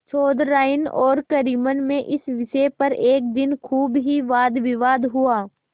चौधराइन और करीमन में इस विषय पर एक दिन खूब ही वादविवाद हुआ